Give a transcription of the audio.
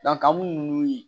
an b'u ye